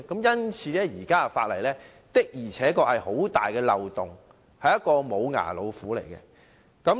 因此，現行法例確實有很大漏洞，只是"無牙老虎"。